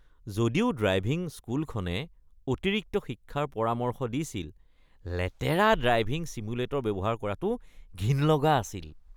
যদিও ড্ৰাইভিং স্কুলখনে অতিৰিক্ত শিক্ষাৰ পৰামৰ্শ দিছিল, লেতেৰা ড্ৰাইভিং ছিমুলেটৰ ব্যৱহাৰ কৰাটো ঘিণ লগা আছিল।